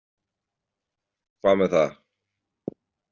Hvað með það?